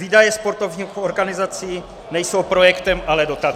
Výdaje sportovních organizací nejsou projektem, ale dotací.